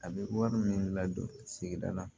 A bɛ wari min ladon sigida la